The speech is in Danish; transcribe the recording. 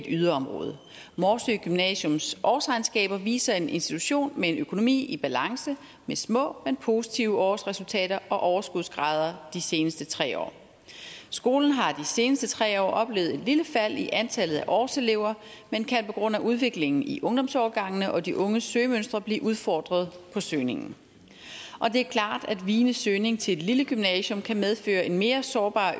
yderområde morsø gymnasiums årsregnskaber viser en institution med en økonomi i balance med små men positive årsresultater og overskudsgrader de seneste tre år skolen har de seneste tre år oplevet et lille fald i antallet af årselever men kan på grund af udviklingen i ungdomsårgangene og de unges søgemønstre blive udfordret på søgningen det er klart at en vigende søgning til et lille gymnasium kan medføre en mere sårbar